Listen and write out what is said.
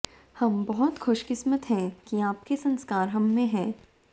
हम बहुत खुशकिस्मत हैं कि आपके संस्कार हम में हैं